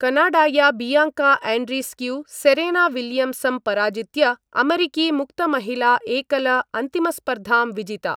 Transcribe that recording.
कनाडाया Bianca Andreescu Serena विलियम्सं पराजित्य अमरीकी मुक्त महिला एकल अन्तिमस्पर्धां विजिता।